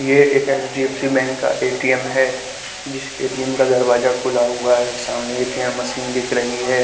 ये एक H D F C bank का ए_टी_एम है जिस ए_टी_एम का दरवाजा खुला हुआ है सामने ए_टी_एम मशीन दिख रही है।